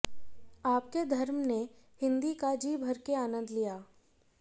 आपके धर्म ने हिंदी का जी भर के आनंद लिया